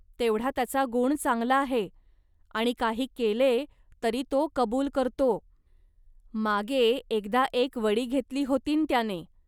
तेवढा त्याचा गुण चांगला आहे आणि काही केले, तरी तो कबूल करतो. मागे एकदा एक वडी घेतली होतीन् त्याने